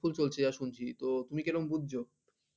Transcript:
housefull চলছে, আর শুনছি তুমি কি রকম বলছো?